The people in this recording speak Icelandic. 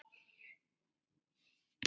Yfir til þín, suður.